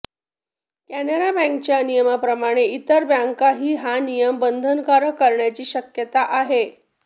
कॅनरा बँकेच्या नियमाप्रमाणे इतर बँकाही हा नियम बंधनकारक करण्याची शक्यता आहे